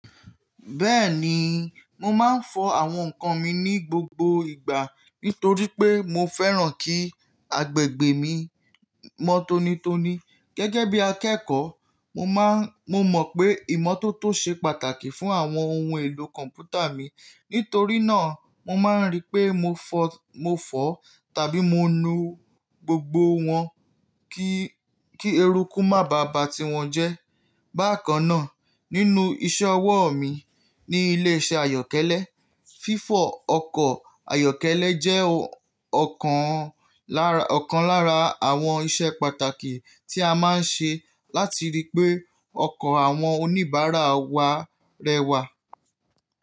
Bẹ́ẹ̀ni, mo máa ń fọ àwọn ǹkan mi ní gbogbo ìgbà nítorí pé mo fẹ́ràn kí agbègbè mi mọ́ tonitoni. Gẹ́gẹ́ bí akẹ́kọ̀ọ́, mo mọ̀ pé ìmọ́tótó ṣe pàtàkì fún àwọn ohun èlò kọ̀mpútà mi. Nítorí náà, mo máa ń rí pé mo fọ tàbí mo nu gbogbo wọn kí eruku má bá ba tí wọn jẹ́. Bákan náà, nínú iṣẹ́ ọwọ́ mi ní ilé iṣẹ́ ayọ̀kẹ́lẹ́, fífọ ọkọ̀ ayọ̀kẹ́lẹ́ jẹ́ ọ̀kan lára àwọn iṣẹ́ pàtàkì tí a máa ń ṣe láti rí pé ọkọ̀ àwọn oníbàárà wa rẹwà.